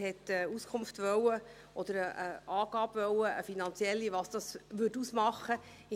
Er wollte eine Auskunft oder eine finanzielle Angabe, was es ausmachen würde.